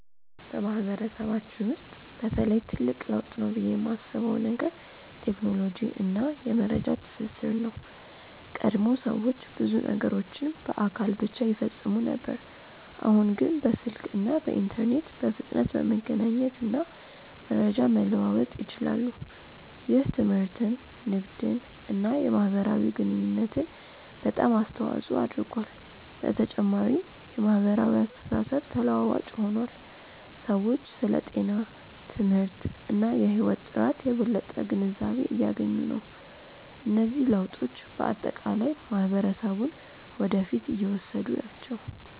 በማህበረሰባችን ውስጥ በተለይ ትልቅ ለውጥ ነው ብዬ የማስበው ነገር ቴክኖሎጂ እና የመረጃ ትስስር ነው። ቀድሞ ሰዎች ብዙ ነገሮችን በአካል ብቻ ይፈጽሙ ነበር፣ አሁን ግን በስልክ እና በኢንተርኔት በፍጥነት መገናኘት እና መረጃ መለዋወጥ ይችላሉ። ይህ ትምህርትን፣ ንግድን እና የማህበራዊ ግንኙነትን በጣም አስተዋፅኦ አድርጓል። በተጨማሪም የማህበራዊ አስተሳሰብ ተለዋዋጭ ሆኗል፤ ሰዎች ስለ ጤና፣ ትምህርት እና የህይወት ጥራት የበለጠ ግንዛቤ እያገኙ ናቸው። እነዚህ ለውጦች በአጠቃላይ ማህበረሰቡን ወደ ፊት እየወሰዱ ናቸው።